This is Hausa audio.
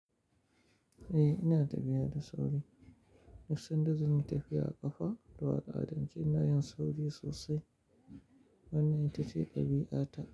Eh ina tafiya da sauri. Duk sanda zan yi tafiya a ƙafa zuwa ƙa'adanci ina yin sauri sosai. Wannan ita ce ɗabi'ata.